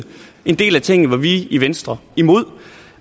en del af tingene var vi i venstre imod